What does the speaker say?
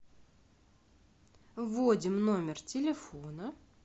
вводим номер телефона